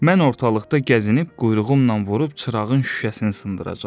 Mən ortalıqda gəzinib quyruğumla vurub çırağın şüşəsini sındıracağam.